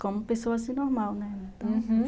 Como pessoa normal, né, uhum.